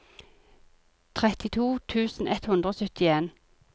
trettito tusen ett hundre og syttien